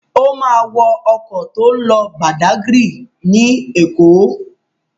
Ó máa wọ ọkọ̀ tó ń lọ Badagry ní Èkó.